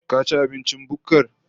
Ka ci abincin bukkar?